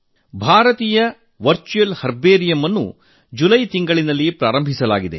ಭಾರತೀಯ virtual herbarium ಅನ್ನು July ತಿಂಗಳಲ್ಲಿ ಆರಂಭಿಸಲಾಗಿದೆ